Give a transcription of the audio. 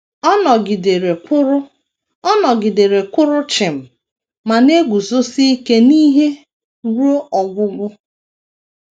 Ọ nọgidere kwụrụ Ọ nọgidere kwụrụ chịm ma na - eguzosi ike n’ihe ruo ọgwụgwụ.